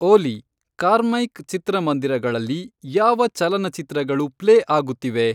ಓಲಿ Carmike ಚಿತ್ರಮಂದಿರಗಳಲ್ಲಿ ಯಾವ ಚಲನಚಿತ್ರಗಳು ಪ್ಲೇ ಆಗುತ್ತಿವೆ